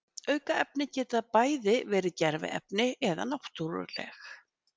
aukefni geta bæði verið gerviefni eða náttúruleg